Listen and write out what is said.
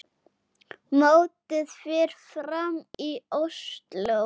Mótið fer fram í Ósló.